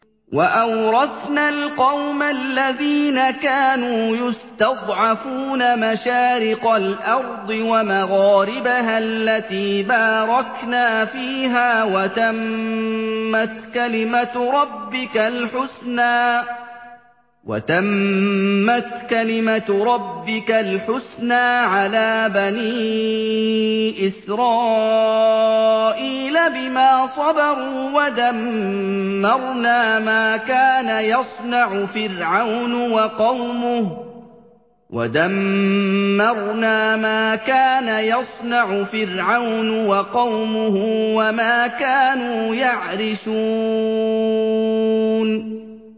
وَأَوْرَثْنَا الْقَوْمَ الَّذِينَ كَانُوا يُسْتَضْعَفُونَ مَشَارِقَ الْأَرْضِ وَمَغَارِبَهَا الَّتِي بَارَكْنَا فِيهَا ۖ وَتَمَّتْ كَلِمَتُ رَبِّكَ الْحُسْنَىٰ عَلَىٰ بَنِي إِسْرَائِيلَ بِمَا صَبَرُوا ۖ وَدَمَّرْنَا مَا كَانَ يَصْنَعُ فِرْعَوْنُ وَقَوْمُهُ وَمَا كَانُوا يَعْرِشُونَ